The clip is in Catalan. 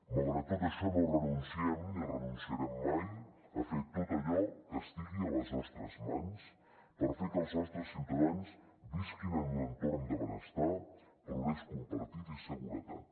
malgrat tot això no renunciem ni renunciarem mai a fer tot allò que estigui a les nostres mans per fer que els nostres ciutadans visquin en un entorn de benestar progrés compartit i seguretat